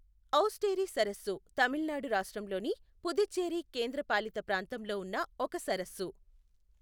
ఔస్టేరి సరస్సు తమిళనాడు రాష్ట్రంలోని పుదుచ్చేరి కేంద్రపాలిత ప్రాంతంలో ఉన్న ఒక సరస్సు.